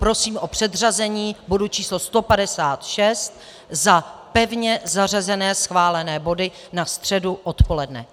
Prosím o předřazení bodu číslo 156 za pevně zařazené schválené body na středu odpoledne.